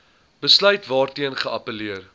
besluit waarteen geappelleer